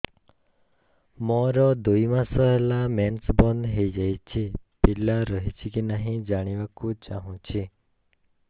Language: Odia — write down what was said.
ମୋର ଦୁଇ ମାସ ହେଲା ମେନ୍ସ ବନ୍ଦ ହେଇ ଯାଇଛି ପିଲା ରହିଛି କି ନାହିଁ ଜାଣିବା କୁ ଚାହୁଁଛି